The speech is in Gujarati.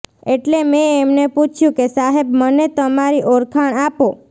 એટલે મે એમને પૂછ્યું કે સાહેબ મને તમારી ઓળખાણ આપો